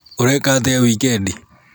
ũreka atĩa wikendi?